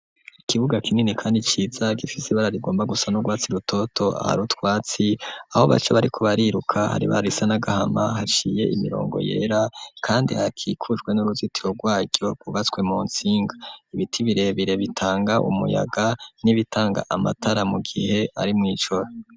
Ikibuga kinini, kandi ciza gifisi bararigomba gusa n'urwatsi rutoto ah rutwatsi aho baco bari kubariruka hari ba risa nagahama haciye imirongo yera, kandi hakikujwe n'uruzitiro rwaryo rubatswe mu nsinga ibiti birebire bitanga umuyaga n'ibitanga amatara mu gihe ari mw'ijoro.